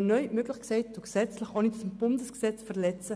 neu die Schraube etwas anziehen, ohne das Bundesgesetz zu verletzen.